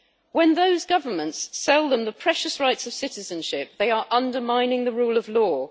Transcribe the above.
When those governments sell them the precious rights of citizenship, they are undermining the rule of law.